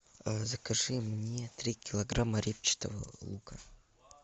закажи мне три килограмма репчатого лука